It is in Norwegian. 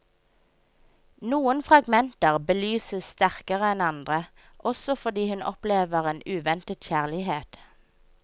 Noen fragmenter belyses sterkere enn andre, også fordi hun opplever en uventet kjærlighet.